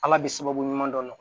Ala bɛ sababu ɲuman dɔ nɔgɔya